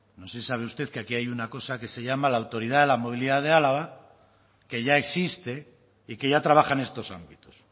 no sé si sabe usted que aquí hay una cosa que se llama la autoridad de la movilidad de álava que ya existe y que ya trabaja en estos ámbitos